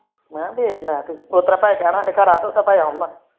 ਮੈ ਦੇਖ ਲਾ ਤੂੰ